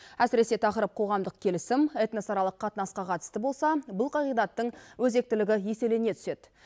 әсіресе тақырып қоғамдық келісім этносаралық қатынасқа қатысты болса бұл қағидаттың өзектілігі еселене түседі